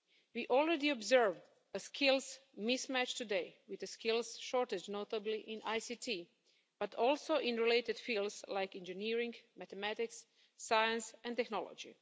We already observe a skills mismatch today with the skills shortage, notably in ICT but also in related fields like engineering, mathematics, science and technology.